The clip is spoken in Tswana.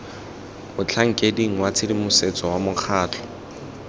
motlhankeding wa tshedimosetso wa mokgatlho